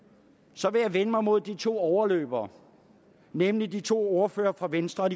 så vil jeg vende mig mod de to overløbere nemlig de to ordførere fra venstre og